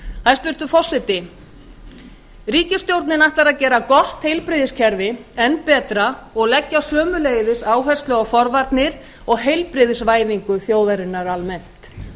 hæstvirtur forseti ríkisstjórnin ætlar að gera gott heilbrigðiskerfi enn betra og leggja sömuleiðis áherslu á forvarnir og heilbrigðisvæðingu þjóðarinnar almennt